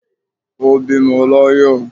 o bímọ l'ayọ